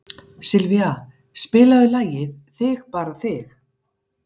Sylvía, spilaðu lagið „Þig bara þig“.